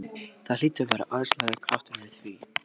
Það hlýtur að vera æðislegur kraftur í því!